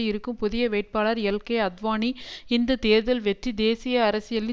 இருக்கும் புதிய வேட்பாளர் எல்கே அத்வானி இந்த தேர்தல் வெற்றி தேசிய அரசியலின்